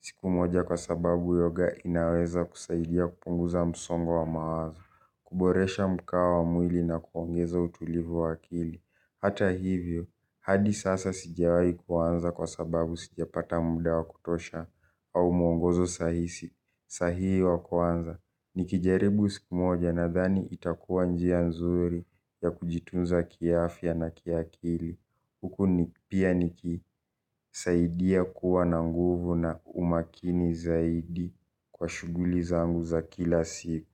siku moja kwa sababu yoga inaweza kusaidia kupunguza msongo wa mawazo, kuboresha mkawa wa mwili na kuongeza utulivu wa akili. Hata hivyo, hadi sasa sijawai kuanza kwa sababu sijapata muda wa kutosha au muongozo sahihi wa kuanza, nikijaribu siku moja nadhani itakuwa njia nzuri ya kujitunza kiafya na kiakili. Huku pia nikisaidia kuwa na nguvu na umakini zaidi kwa shuguli zangu za kila siku.